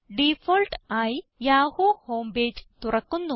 default ആയി Yahoo home page തുറക്കുന്നു